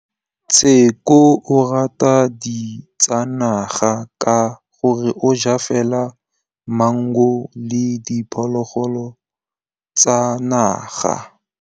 Tshekô o rata ditsanaga ka gore o ja fela maungo le diphologolo tsa naga.